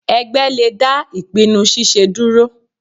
Ẹgbẹ́ le dá ìpinnu ṣiṣe dúró.